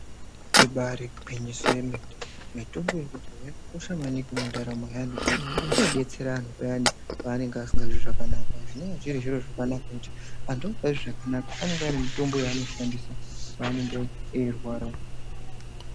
Ibari gwinyiso yemene mitombo yekudhaya yakakosha maningi mundaramo yaantu ngekuti inodetsera anhu payani paanenga asikazwi zvakanaka zvinowa zviri zviro zvakanaka pakuti Antu anokure zvakanaka anenga ane mutombo yaanoshandisa paanenge eirwara.